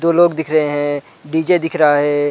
दो लोग दिख रहै है डी.जे दिख रहा है।